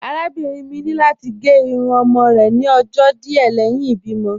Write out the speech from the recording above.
Arábìnrin mi ni lati gẹ irun ọmọ rẹ ni ọjọ́ díẹ̀ lẹhin ibìmo.